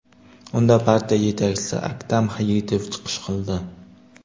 Unda partiya yetakchisi Aktam Hayitov chiqish qildi.